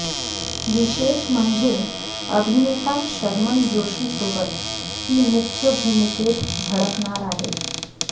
विशेष म्हणजे अभिनेता शर्मन जोशीसोबत ती मुख्य भूमिकेत झळकणार आहे